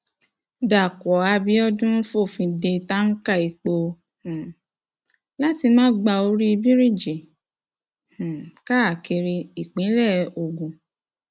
dàpọ abiodun fòfin de táǹkà epo um láti máa gba orí bíríìjì um káàkiri ìpínlẹ ogun